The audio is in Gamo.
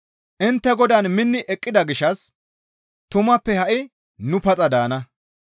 Intte Godaan minni eqqida gishshas tumappe ha7i nu paxa daana.